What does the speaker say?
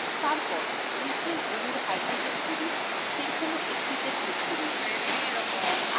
তারপর methane অণুর হাইড্রোজেনগুলির যেকোনো একটিতে click করুন